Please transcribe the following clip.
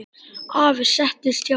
Afi settist hjá henni.